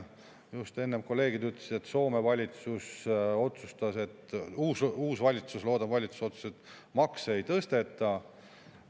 Just enne kolleegid ütlesid, et Soome uus loodav valitsus otsustas, et makse ei tõsteta.